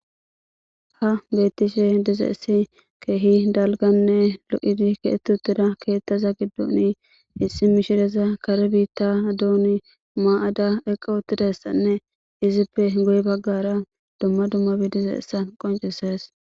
Ha beettishe dizeessi keehi dalganne lo'idi keetutida keettaza gidduni ixi mishireza kare biitta duuni maa'ada eqa utidassanne izippe goy baggara dumma dumma gidizayissa qoncises